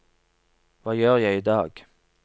hva gjør jeg idag